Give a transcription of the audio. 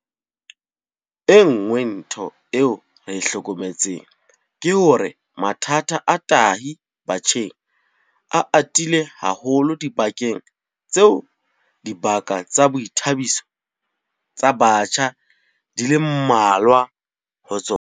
E nngwe ntho eo re e hlokometseng ke hore mathata a tahi batjheng a atile haholo dibakeng tseo dibaka tsa boithabiso tsa batjha di leng mmalwa ho tsona.